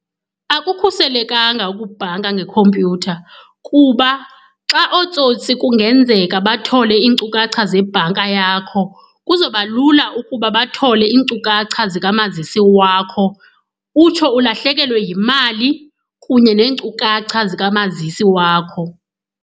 Akukhuselekanga ukubhanka ngekhompyutha kuba xa ootsotsi kungenzeka bathole iinkcukacha zebhanka yakho, kuzoba lula ukuba bathole iinkcukacha zikamazisi wakho utsho ulahlekelwe yimali kunye neenkcukacha zikamazisi wakho.